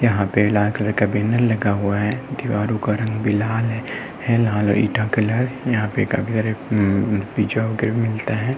यहाँ पर लाल कलर का बैनर लगा हुआ है दीवारों का रंग लाल है।